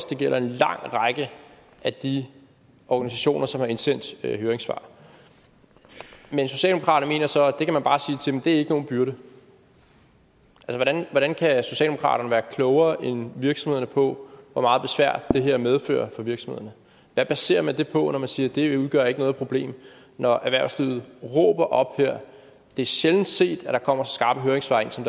det gælder en lang række af de organisationer som har indsendt høringssvar men socialdemokraterne mener så at det ikke er nogen byrde hvordan kan socialdemokraterne være klogere end virksomhederne på hvor meget besvær det her medfører for virksomhederne hvad baserer man det på når man siger at det ikke udgør noget problem når erhvervslivet råber op her det er sjældent set at der kommer så skarpe høringssvar ind som